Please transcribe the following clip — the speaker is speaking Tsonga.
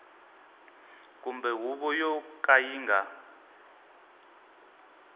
kumbe huvo yo ka yi